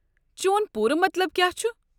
چون پوٗرٕ مطلب كیاہ چھُ؟